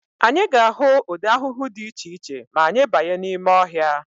Anyị ga-ahụ ụdị ahụhụ dị iche iche ma anyị banye n'ime ọhịa.